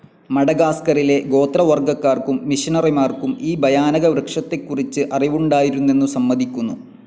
മഡഗാസ്കറിലെ ഗോത്രവർഗ്ഗക്കാർക്കും മിഷനറിമാർക്കും ഈ ഭയാനകവൃക്ഷത്തെക്കുറിച്ച് അറിവുണ്ടായിരുന്നെന്നു സമ്മതിക്കുന്നു.